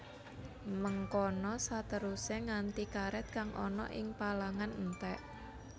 Mengkono saterusé nganti karèt kang ana ing palangan entèk